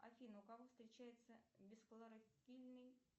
афина у кого встречается безхлорофильный